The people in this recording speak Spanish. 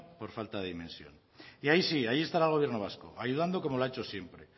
por falta de dimensión ahí sí ahí estará el gobierno vasco ayudando como lo ha hecho siempre